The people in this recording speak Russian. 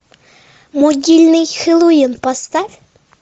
могильный хэллоуин поставь